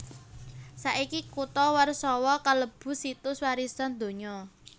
Saiki kutha Warsawa kalebu Situs Warisan Donya